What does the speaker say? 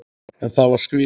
En það var svikið.